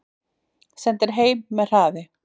Sendir heim með hraði